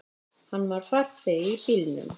Hann var farþegi í bílnum.